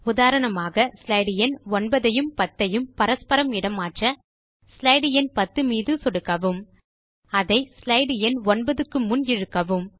உதாரணமாக ஸ்லைடு எண் 9 ஐயும் 10 ஐயும் பரஸ்பரம் இட மாற்ற ஸ்லைடு எண் 10 மீது சொடுக்கவும் அதை ஸ்லைடு எண் 9க்கு முன் இழுக்கவும்